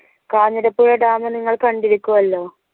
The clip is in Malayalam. കാഞ്ഞിരപ്പുഴ dam നിങ്ങൾ കണ്ടിരിക്കുവല്ലോ